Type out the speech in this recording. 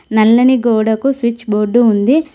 నల్లని గోడకు switch board ఉంది.